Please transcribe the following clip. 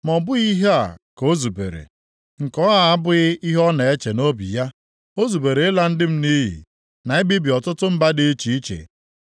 Ma ọ bụghị ihe a ka o zubere, nke a abụghị ihe ọ na-eche nʼobi ya; o zubere ịla ndị m nʼiyi, na ibibi ọtụtụ mba dị iche iche.